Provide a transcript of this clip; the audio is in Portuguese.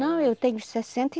Não, eu tenho sessenta e